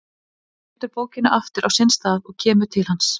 Hún setur bókina aftur á sinn stað og kemur til hans.